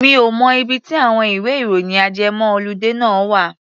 Mi ò mọ ibi tí àwọn ìwẹ́-ìròyìn ajẹmọ́-ọludé náà wà.